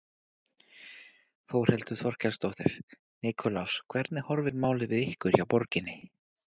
Þórhildur Þorkelsdóttir: Nikulás hvernig horfir málið við ykkur hjá borginni?